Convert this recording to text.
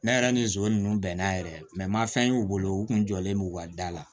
Ne yɛrɛ ni nson nunnu bɛnna yɛrɛ ma fɛn y'u bolo u kun jɔlen don u ka da la